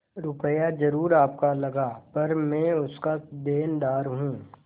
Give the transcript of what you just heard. रुपया जरुर आपका लगा पर मैं उसका देनदार हूँ